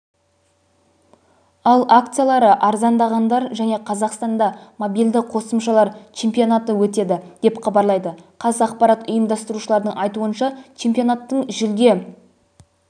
ал акциялары арзандағандар және қазақстанда мобильді қосымшалар чемпионаты өтеді деп хабарлайды қазақпарат ұйымдастырушылардың айтуынша чемпионаттың жүлде